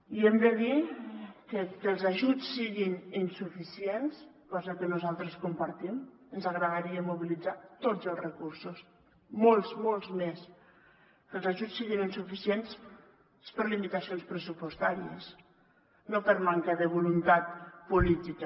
i hem de dir que el fet que els ajuts siguin insuficients cosa que nosaltres compartim ens agradaria mobilitzar tots els recursos molts molts més és per limitacions pressupostàries no per manca de voluntat política